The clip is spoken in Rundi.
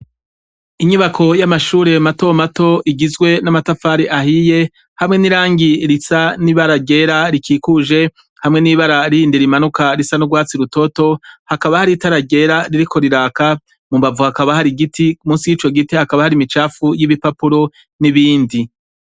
Inyubako y'amashure matomato igizwe n'amatafari ahiye, hamwe n'irangi risa n'ibara ryera rikikuje, hamwe n'ibara rindi rimanuka risa n'urwatsi rutoto, hakaba hari itara ryera ririko riraka, mu mbavu hakaba hari igiti, munsi y'ico giti hakaba hari imicafu y'ibipapuro n'ibindi.